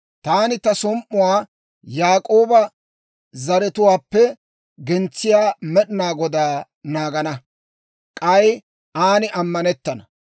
Taani bare som"uwaa Yaak'ooba zaratuwaappe gentsiyaa Med'inaa Godaa naagana; k'ay aan ammanettana.